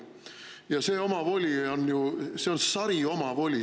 Ja see on sariomavoli.